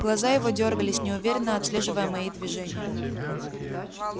глаза его дёргались неуверенно отслеживая мои движения